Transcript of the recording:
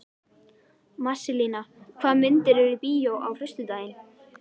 Marselína, hvaða myndir eru í bíó á föstudaginn?